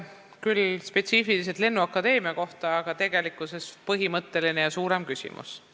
Küsimus oli küll spetsiifiliselt lennuakadeemia kohta, aga tegelikkuses on see põhimõtteline ja suurem küsimus.